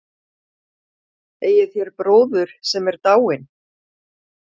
Eigið þér bróður sem er dáinn?